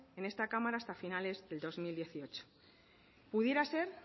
en este cámara hasta finales del dos mil dieciocho pudiera ser